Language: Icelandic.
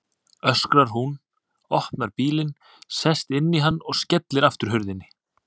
öskrar hún, opnar bílinn, sest inn í hann og skellir aftur hurðinni.